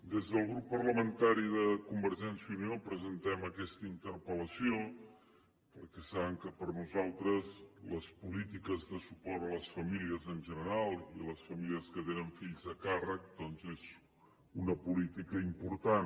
des del grup parlamentari de convergència i unió presentem aquesta interpel·lació perquè saben que per a nosaltres les polítiques de suport a les famílies en general i les famílies que tenen fills a càrrec doncs és una política important